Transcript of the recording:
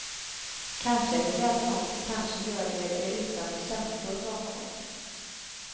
Kanske är de rädda, kanske gör de det utan känslor bakom.